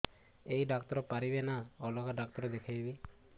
ଏଇ ଡ଼ାକ୍ତର ପାରିବେ ନା ଅଲଗା ଡ଼ାକ୍ତର ଦେଖେଇବି